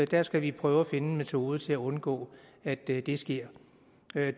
der skal vi prøve at finde en metode til at undgå at det det sker